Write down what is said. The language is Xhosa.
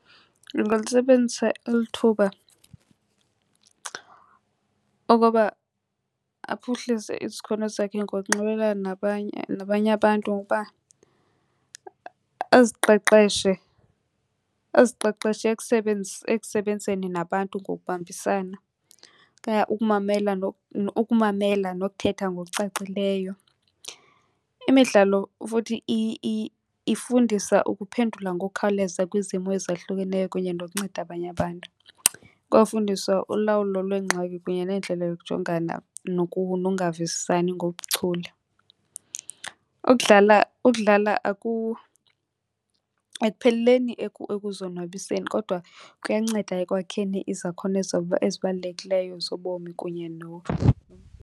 Lungalisebenzisa eli thuba ukuba aphuhlise isakhono sakhe ngokunxibelelana nabanye, nabanye abantu ngokuba aziqeqeshe, aziqeqeshe ekusebenzeni nabantu ngokubambisana okanye ukumamela , ukumamela nokuthetha ngokucacileyo. Imidlalo futhi ifundisa ukuphendula ngokukhawuleza kwizimo ezahlukeneyo kunye nokunceda abanye abantu. Ikwafundisa ulawulo lweengxaki kunye nendlela yokujongana nokungavisisani ngobuchule. Ukudlala, ukudlala ekupheleleni ekuzonwabiseni kodwa kuyanceda ekwakheni izakhono ezibalulekileyo zobomi kunye .